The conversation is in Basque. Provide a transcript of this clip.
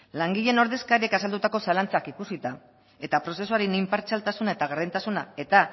langileen ordezkariek azaldutako zalantzak ikusita eta prozesuaren inpartzialtasuna eta gardentasuna eta